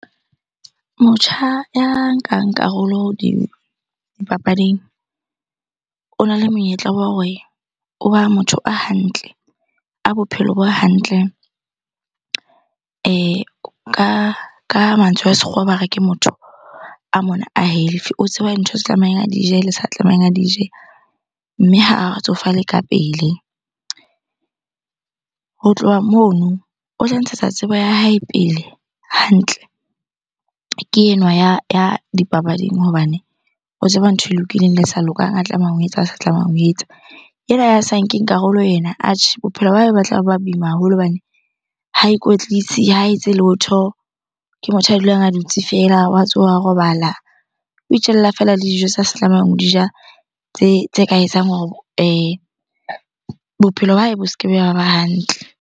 Motjha ya nkang karolo dipapading ona le monyetla wa hore o ba motho a hantle, a bophelo bo hantle. Ka mantswe a sekgowa ba re ke motho a mona a healthy. O tseba ntho tse tlamehileng a di je le sa tlamehang a di je, mme ha o tsofale ka pele. Ho tloha mono, o tla ntshetsa tsebo ya hae pele hantle. Ke enwa ya dipapading hobane o tseba ntho e lokileng le e sa lokang, a tlamehang ho etsa le a sa tlamehang ho etsa. Enwa ya sa nkeng karolo ena, atjhe bophelo ba hae ba tla ba boima haholo hobane ha ikwetlisi, ha etse letho. Ke motho a dulang a dutse feela, wa tsoha, wa robala. O itjella feela le dijo tsa se tlamehang ho di ja tse ka etsang hore bophelo ba hae bo se ke be ba ba hantle.